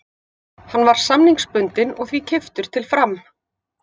Hann var samningsbundinn og því keyptur til Fram.